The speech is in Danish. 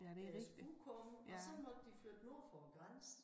Deres udkårne og så måtte de flytte nord for æ grænse